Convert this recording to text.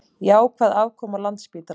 Jákvæð afkoma Landspítala